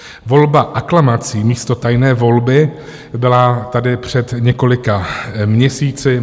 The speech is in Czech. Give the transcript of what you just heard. Volba aklamací místo tajné volby byla tady před několika měsíci.